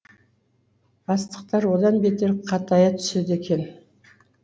бастықтар одан бетер қатая түседі екен